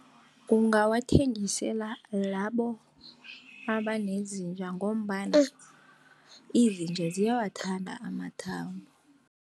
Ungawathengisela labo abanezinja, ngombana izinja ziyawathanda amathambo.